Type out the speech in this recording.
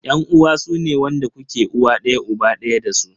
Yan uwa sune wanda kuke uwa daya uba daya dasu.